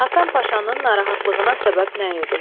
Həsən Paşanın narahatlığına səbəb nə idi?